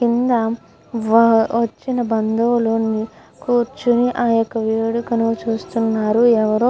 కింద వచ్చిన బందువులు అందరు కూర్చొని ఆ యొక్క వేడుకని చూస్తునారు. ఎవరో --